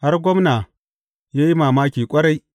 Har gwamna ya yi mamaki ƙwarai.